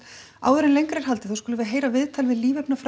áður en lengra er haldið skulum við heyra viðtal við